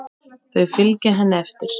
Þau fylgja henni eftir.